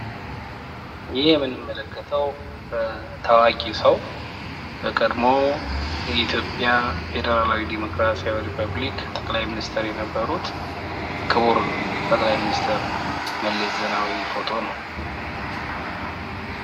ይህ የምንመለከተው ታዋቂ ሰው በቀድሞው የኢትዮጵያ ፌዴራላዊ ዴሞክራሲያዊ ሪፐብሊክ ጠቅላይ ሚኒስቴር የነበሩት ክቡር ጠቅላይ ሚኒስቴር መለስ ዜናው ፎቶ ነው።